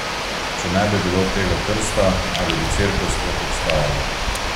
Če ne bi bilo tega krsta, ali bi Cerkev sploh obstajala?